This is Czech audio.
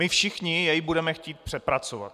My všichni jej budeme chtít přepracovat.